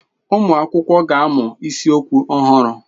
Ụmụ akwụkwọ ga-amụ isiokwu ọhụrụ.